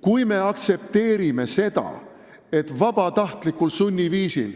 Kui me nüüd aktsepteerime seda, et me vabatahtlikult sunniviisil,